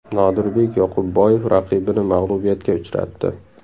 Nodirbek Yoqubboyev raqibini mag‘lubiyatga uchratdi.